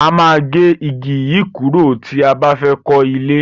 A máa gé igi yìí kúrò tí a bá fẹ́ kọ́ ilé.